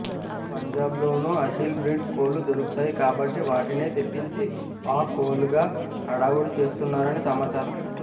పంజాబ్లోనూ Aseel breed కోళ్లు దొరుకుతాయి కాబట్టి వాటినే తెప్పించి పాక్ కోళ్లుగా హడావుడి చేస్తున్నారని సమాచారం